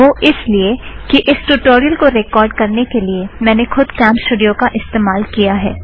वह इस लिए कि इस ट्युटोरियल को रेकॉर्ड़ करने के लिए मैं खुद कॅमस्टूड़ियो का इस्तमाल किया है